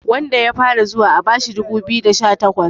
wanda ya fara zuwa a bashi dubu biyu da sha takwas